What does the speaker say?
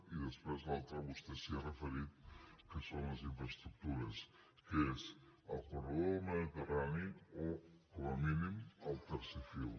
i després l’altra vostè s’hi ha referit que són les infraestructures que és el corredor del mediterrani o com a mínim el tercer fil